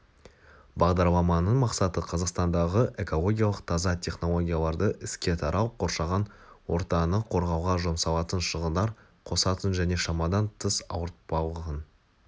бағдарламаның мақсаты-қазақстандағы экологиялық таза технологияларды іске тарау қоршаған ортаны қорғауға жұмсалатын шығындар қосатын және шамадан тыс ауыртпалығын